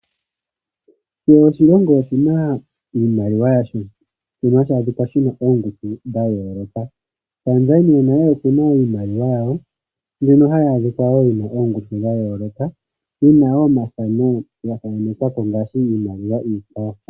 Kehe oshilongo oshi na iimaliwa yasho mbyono hayi kala yi na opngushu dha yooloka. Tanzania nasho oshi na iimaliwa yasho, mbyono yi na wo ongushunyq yooloka, yo oyi na omafano ga thanekwa ko ngaashi iimaliwa iikwawo.